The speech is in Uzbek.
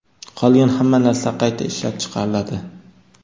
Qolgan hamma narsa qayta ishlab chiqariladi.